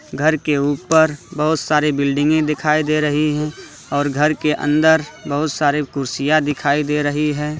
घर के ऊपर बहुत सारी बिल्डिंग दिखाई दे रही है और घर के अंदर बहुत सारे कुर्सियां दिखाई दे रही है।